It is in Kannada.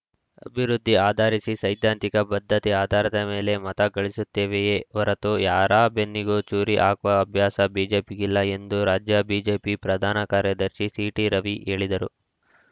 ಅಭಿವೃದ್ಧಿ ಆಧರಿಸಿ ಸೈದ್ಧಾಂತಿಕ ಬದ್ಧತೆಯ ಆಧಾರದ ಮೇಲೆ ಮತ ಗಳಿಸುತ್ತೇವೆಯೇ ಹೊರೆತು ಯಾರ ಬೆನ್ನಿಗೂ ಚೂರಿ ಹಾಕುವ ಅಭ್ಯಾಸ ಬಿಜೆಪಿಗಿಲ್ಲ ಎಂದು ರಾಜ್ಯ ಬಿಜೆಪಿ ಪ್ರಧಾನ ಕಾರ್ಯದರ್ಶಿ ಸಿಟಿರವಿ ಹೇಳಿದರು